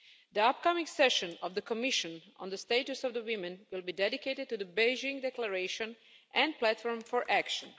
The upcoming session of the Commission on the Status of Women will be dedicated to the Beijing Declaration and Platform for Action.